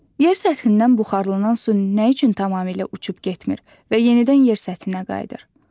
Yer səthindən buxarlanan su nə üçün tamamilə uçub getmir və yenidən yer səthinə qayıdır?